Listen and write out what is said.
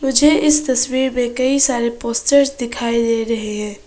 मुझे इस तस्वीर में कई सारे पोस्टर्स दिखाई दे रहे हैं।